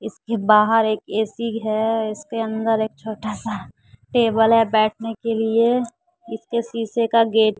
इसके बाहर एक ए_सी है इसके अंदर एक छोटा सा टेबल है बैठने के लिए इसके शीशे का गेट --